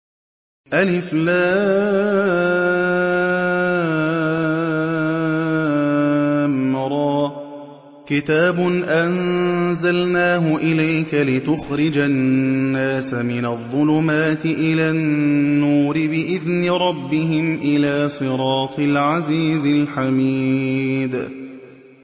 الر ۚ كِتَابٌ أَنزَلْنَاهُ إِلَيْكَ لِتُخْرِجَ النَّاسَ مِنَ الظُّلُمَاتِ إِلَى النُّورِ بِإِذْنِ رَبِّهِمْ إِلَىٰ صِرَاطِ الْعَزِيزِ الْحَمِيدِ